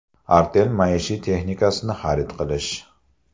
Artel maishiy texnikasini xarid qilish!